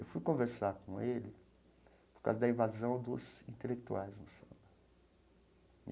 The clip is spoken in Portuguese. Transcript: Eu fui conversar com ele por causa da invasão dos intelectuais no samba.